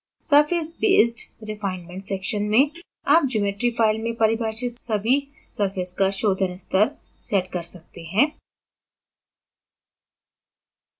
surfacebased refinement section में आप geometry file में परिभाषित सभी surface का शोधन स्तर set कर सकते हैं